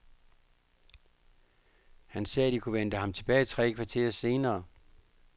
Han sagde, at de kunne vente ham tilbage tre kvarter senere.